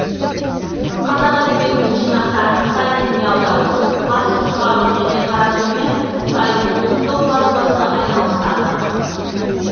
қазақ әдебиетінің жинақтарын қытай тіліне аудару басып шығару және таратумен қытайдың ұлттық баспасы айналысады